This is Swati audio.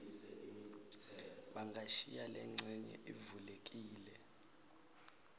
bangashiya lencenye ivulekile